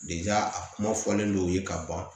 a kuma fɔlen don u ye ka ban